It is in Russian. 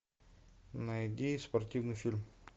найди спортивный фильм